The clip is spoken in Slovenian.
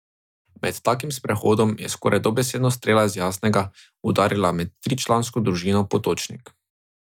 Med takim sprehodom je skoraj dobesedno strela z jasnega udarila med tričlansko družino Potočnik.